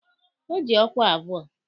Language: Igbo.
O ji ọkwa abụọ